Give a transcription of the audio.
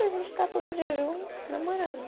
A gente está todo dia junto, namorando.